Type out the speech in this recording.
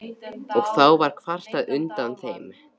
Og þá var kvartað undan þeim.